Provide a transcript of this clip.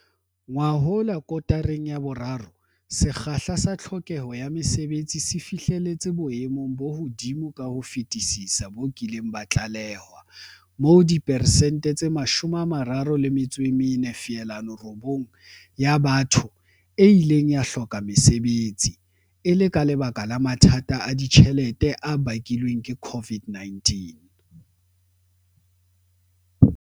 Ngwahola kotareng ya boraro, sekgahla sa tlhokeho ya mesebetsi se fihleletse boemo bo hodimo ka ho fetisisa bo kileng ba tlalewa, moo diperesente tse 34.9 ya batho e ileng ya hloka mesebetsi, e le ka lebaka la mathata a ditjhelete a bakilweng ke COVID-19.